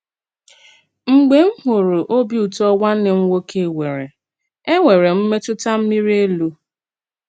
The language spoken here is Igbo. Mgbè m hùrù òbì ùtọ́ nwànnè m nwòké nwerè, ènwèrè m m̀mètùtà mírì élù.